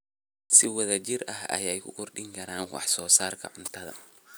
Si wada jir ah ayay u kordhin karaan wax soo saarka cuntada.